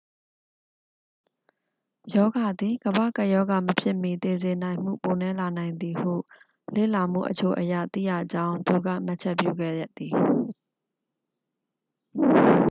ရောဂါသည် ကမ္ဘာ့ကပ်ရောဂါ မဖြစ်မီ သေစေနိုင်မှု ပိုနည်းလာနိုင်သည်ဟု လေ့လာမှုအချို့အရ သိရကြောင်း သူက မှတ်ချက်ပြုခဲ့သည်